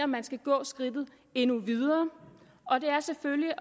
man skal gå skridtet endnu videre og det er selvfølgelig